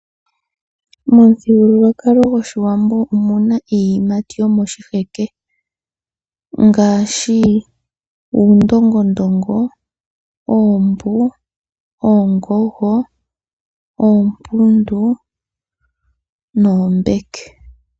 Momuthigululwakalo goshiwambo omuna iiyimati yomoshiheke, ngaashi; uundongondongo, oombu, oongoho, oompundu, noombeke.